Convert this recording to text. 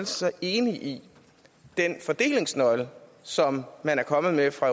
så enig i den fordelingsnøgle som man er kommet med fra